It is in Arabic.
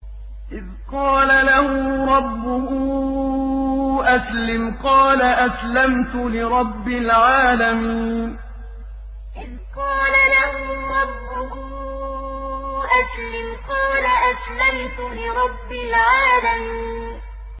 إِذْ قَالَ لَهُ رَبُّهُ أَسْلِمْ ۖ قَالَ أَسْلَمْتُ لِرَبِّ الْعَالَمِينَ إِذْ قَالَ لَهُ رَبُّهُ أَسْلِمْ ۖ قَالَ أَسْلَمْتُ لِرَبِّ الْعَالَمِينَ